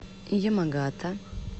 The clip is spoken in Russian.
ямагата